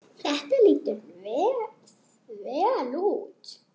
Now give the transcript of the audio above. Þetta lítur vel út.